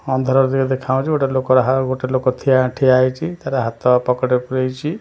ଅନ୍ଧାର ଦେଖାଯାଉଛି ଗୋଟେ ଲୋକ --ଗୋଟେ ଲୋକ ଠିଆ ଠିଆ ହେଇଛି ତାର ହାତ ପକେଟରେ ପୁରେଇଛି ।